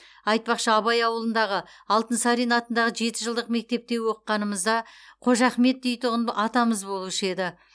айтпақшы абай ауылындағы алтынсарин атындағы жеті жылдық мектепте оқығанымызда қожа ахмет дейтұғын атамыз болушы еді